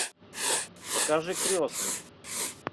покажи крестный